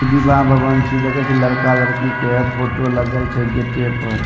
इ विवाह भवन छिए देखे छिए लड़का-लड़की के फोटो लगल छै गेटे पर।